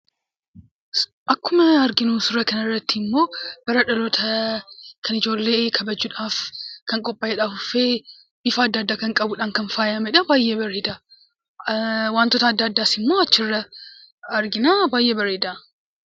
Akkuma arginu suuraa kana irratti immoo bara dhaloota kan ijoollee kabajuudhaaf kan qophaa'eedha. Afuuffee ifa adda addaa kan qabuudhaan kan faayamee dha. Baay'ee bareeda. Wantoota adda addaas immoo achirraa arginaa; baay'ee bareeda.